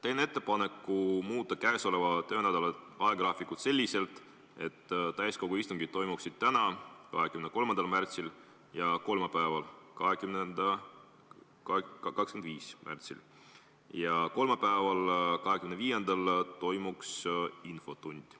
Teen ettepaneku muuta käesoleva töönädala ajagraafikut selliselt, et täiskogu istungid toimuksid täna, 23. märtsil, ja kolmapäeval, 25. märtsil, ning kolmapäeval, 25. märtsil toimuks infotund.